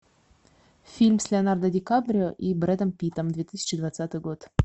фильм с леонардо ди каприо и брэдом питтом две тысячи двадцатый год